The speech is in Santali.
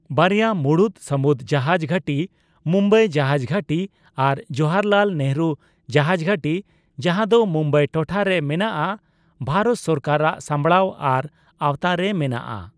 ᱵᱟᱨᱭᱟ ᱢᱩᱬᱩᱛ ᱥᱟᱹᱢᱩᱫ ᱡᱟᱦᱟᱡᱽ ᱜᱷᱟᱹᱴᱤᱴᱤ, ᱢᱩᱢᱵᱟᱭ ᱡᱟᱦᱟᱡᱽ ᱜᱷᱟᱹᱴᱤ ᱟᱨ ᱡᱚᱣᱟᱦᱚᱨᱞᱟᱞ ᱱᱮᱦᱨᱩ ᱡᱟᱦᱟᱡᱽ ᱜᱷᱟᱹᱴᱤ, ᱡᱟᱸᱦᱟ ᱫᱚ ᱢᱩᱢᱵᱟᱭ ᱴᱚᱴᱷᱟ ᱨᱮ ᱢᱮᱱᱟᱜ ᱟ, ᱵᱷᱟᱨᱚᱛ ᱥᱚᱨᱠᱟᱨᱟᱜ ᱥᱟᱢᱵᱲᱟᱣ ᱟᱨ ᱟᱣᱛᱟᱨᱮ ᱢᱮᱱᱟᱜᱼᱟ ᱾